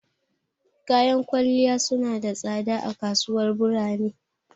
Kayan kwalliya su na da tsada a kasuwanin burane.